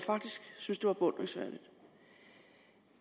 synes det var beundringsværdigt